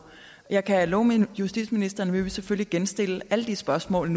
jeg kan love justitsministeren at vi selvfølgelig genstille alle de spørgsmål